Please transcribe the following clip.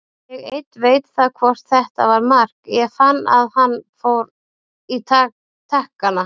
Ég einn veit það hvort þetta var mark, ég fann að hann fór í takkana.